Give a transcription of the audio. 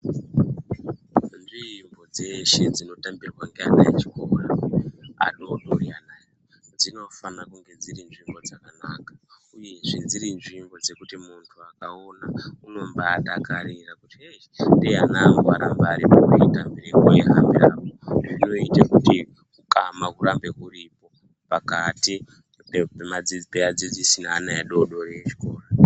Nzvimbo dzeshe dzino tambirwa nevana vechikora adodori anawa dzinofana kunge dziri nzvimbo dzakanaka uyezve dziri nzvimbo dzekuti muntu akaona anobadakarira kuti ndeyani dai vana vangu varipo Vai dai veita mbirapo vei hambirapo zvinoita kuti ukama huramba uripo pakati pevadzidzisi nevana vezvikora.